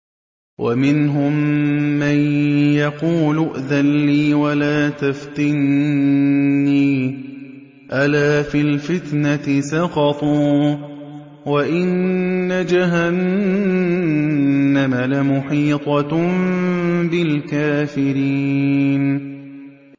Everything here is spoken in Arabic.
وَمِنْهُم مَّن يَقُولُ ائْذَن لِّي وَلَا تَفْتِنِّي ۚ أَلَا فِي الْفِتْنَةِ سَقَطُوا ۗ وَإِنَّ جَهَنَّمَ لَمُحِيطَةٌ بِالْكَافِرِينَ